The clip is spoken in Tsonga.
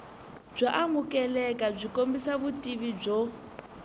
byo amukelekabyi kombisa vutivi byo